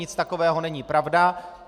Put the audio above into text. Nic takového není pravda.